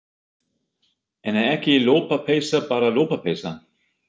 En er ekki lopapeysa bara lopapeysa?